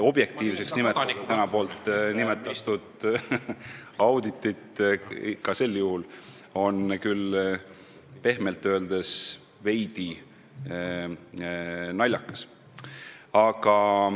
Nii et nimetada seda auditit objektiivseks on pehmelt öeldes veidi naljakas.